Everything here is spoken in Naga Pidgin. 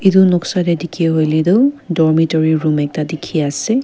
idu noksa deh dikhi huile duh dormitory room ekta dikhi ase.